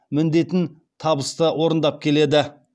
міндетін табысты орындап келеді